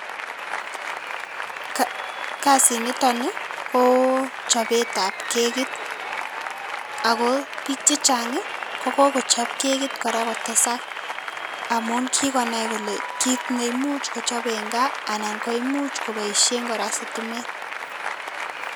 Kasit niton nii koo chopet ab kekit ako bik chechangi ko kokochop keki koraa kotesak amun kikonai kole kit neimuch kochop en gaa anan koimuch koboishen koraa sitimet.